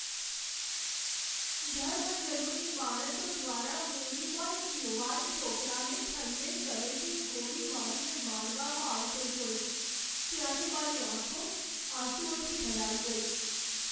ધર્મઝનૂની માણસો દ્વારા મૂવીમાં એક યુવાન છોકરાને ઠંડે કલેજે ગોળી મારીને મારવામાં આવતો જોયો, ત્યારે મારી આંખો આંસુઓથી ભરાઈ ગઈ.